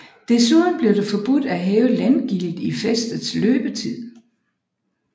Desuden blev det forbudt at hæve landgildet i fæstets løbetid